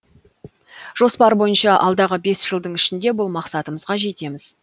жоспар бойынша алдағы бес жылың ішінде бұл мақсатымызға жетеміз